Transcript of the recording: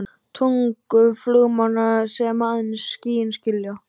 tungu flugmanna sem aðeins skýin skilja.